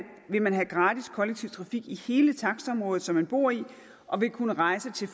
vil man have gratis kollektiv trafik i hele takstområdet som man bor i og vil kunne rejse til